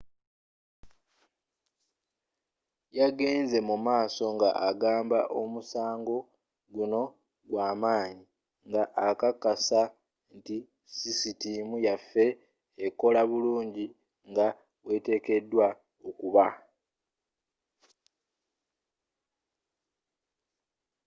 yagenze mumaaso nga agamba omusango gunno gwamaanyi nga akakasa nti sisitiimu yaffe ekola bulungi nga bweteekedwa okuba